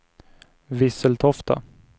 Visseltofta